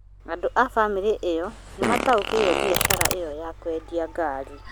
Andũ a bamĩrĩ ĩyo nĩmataukĩirwo biacara ĩya ya kũendia ngari